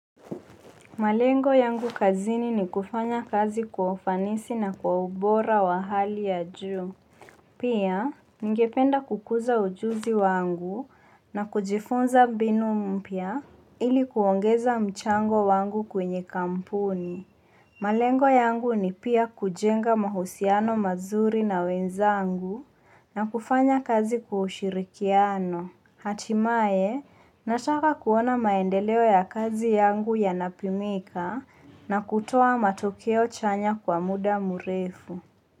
Malengo yangu kazini ni kufanya kazi kwa ufanisi na kwa ubora wa hali ya juu. Pia, ningependa kukuza ujuzi wangu na kujifunza mbinu mpya ili kuongeza mchango wangu kwenye kampuni. Malengo yangu ni pia kujenga mahusiano mazuri na wenzangu na kufanya kazi kwa ushirikiano. Hatimaye, nataka kuona maendeleo ya kazi yangu yanapimika na kutuo matokeo chanya kwa muda mrefu.